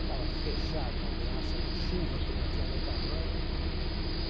Estava fechado uma ameaça de chuva que não tinha nem tamanho.